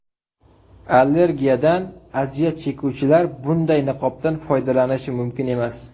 Allergiyadan aziyat chekuvchilar bunday niqobdan foydalanishi mumkin emas.